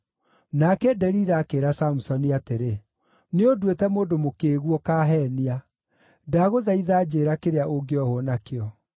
Nake Delila akĩĩra Samusoni atĩrĩ, “Nĩũnduĩte mũndũ mũkĩĩgu; ũkaheenia. Ndagũthaitha njĩĩra kĩrĩa ũngĩohwo nakĩo.”